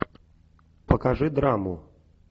покажи драму